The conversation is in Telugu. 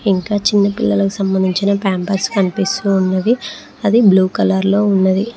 ఇంకా చిన్న పిల్లలకు సంబంధించిన పంపర్స్ కనిపిస్తూ ఉన్నది అది బ్లూ కలర్ లో ఉన్నది.